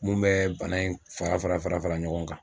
Mun bɛ bana in fara fara fara fara ɲɔgɔn kan.